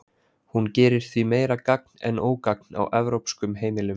Hún gerir því meira gagn en ógagn á evrópskum heimilum.